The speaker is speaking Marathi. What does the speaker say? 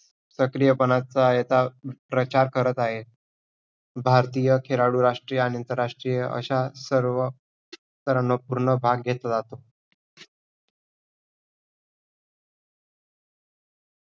सक्रियपणाचं याचा प्रचार करत आहेत. भारतीय खेळाडू राष्ट्रीय आणि आंतरराष्ट्रीय अशा सर्व पूर्ण भाग घेतला जातो.